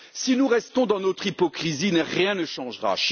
Si nous restons dans notre hypocrisie, rien ne changera.